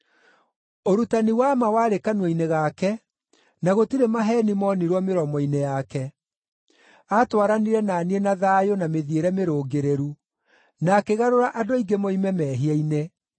Ũrutani wa ma warĩ kanua-inĩ gake, na gũtirĩ maheeni moonirwo mĩromo-inĩ yake. Aatwaranire na niĩ na thayũ na mĩthiĩre mĩrũngĩrĩru, na akĩgarũra andũ aingĩ moime mehia-inĩ.